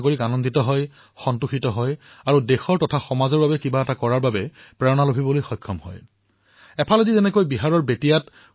এফালে যেতিয়া বিহাৰৰ বেতিয়াত প্ৰাক্তন শিক্ষাৰ্থীসকলে স্বাস্থ্যসেৱাৰ দায়িত্ব গ্ৰহণ কৰিলে ঠিক সেইসময়তে উত্তৰ প্ৰদেশৰ ফুলপুৰৰ কিছুমান মহিলাই নিজৰ কৰ্মৰ দ্বাৰা সমগ্ৰ এলেকাটোতে আদৰ্শ স্থাপিত কৰিলে